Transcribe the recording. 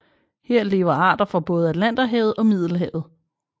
Her lever arter fra både Atlanterhavet og Middelhavet